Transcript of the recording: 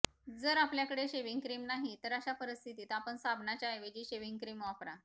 जर आपल्या कडे शेव्हिंग क्रीम नाही तर अशा परिस्थितीत आपण साबणाच्या ऐवजी शेव्हिंग क्रीम वापरा